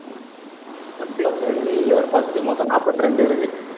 முப்பத்தி இரண்டு இங்க ஒரு பத்து மொத்தம் நாற்பத்தி இரண்டு இருக்கு.